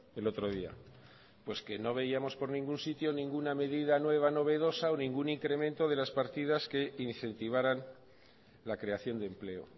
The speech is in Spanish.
el otro día pues que no veíamos por ningún sitio ninguna medida nueva novedosa o ningún incremento de las partidas que incentivaran la creación de empleo